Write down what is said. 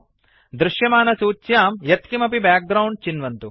दृश्यमानसूच्यां यत्किमपि बैकग्राउण्ड चिन्वन्तु